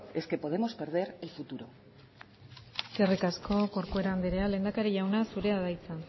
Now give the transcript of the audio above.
es que podemos perder el futuro eskerrik asko corcuera andrea lehendakari jauna zurea da hitza